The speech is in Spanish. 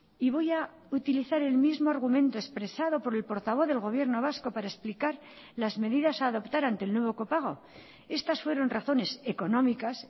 y voy a utilizar el mismo argumento expresado por el portavoz del gobierno vasco para explicar las medidas a adoptar ante el nuevo copago estas fueron razones económicas